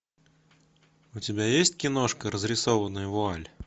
у тебя есть киношка разрисованная вуаль